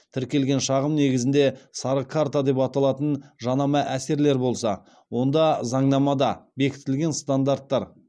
тіркелген шағым негізінде сары карта деп аталатын жанама әсерлер болса онда заңнамада бекітілген стандарттар